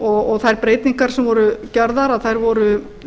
og þær breytingar sem voru gerðar voru